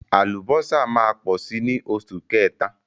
Àlùbọ́sà máa pọ̀ ní oṣù kẹta.